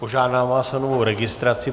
Požádám vás o novou registraci.